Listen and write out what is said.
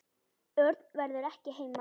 Örn verður ekki heima.